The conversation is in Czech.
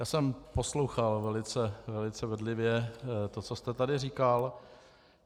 Já jsem poslouchal velice bedlivě to, co jste tady říkal.